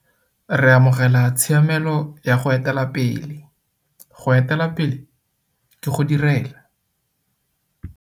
Re amogela tshiamelo ya go etela pele. Go etela pele ke go direla.